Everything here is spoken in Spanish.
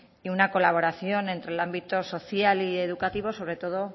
y una colaboración entre el ámbito social y educativo sobre todo